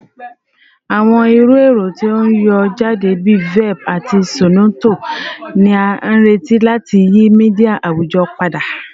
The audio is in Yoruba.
Awọn iru ẹrọ ti n yọ jade bi Velp ati Zornoto ni a nireti lati yi media awujọ pada